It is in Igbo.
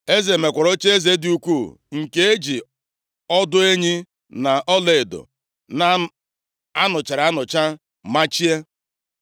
Eze mekwara ocheeze dị ukwu nke e ji ọdụ enyi na ọlaedo a nụchara anụcha machie